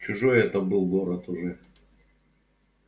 чужой это был город уже